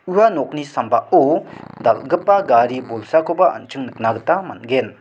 ua nokni sambao dal·gipa gari bolsakoba an·ching nikna gita man·gen.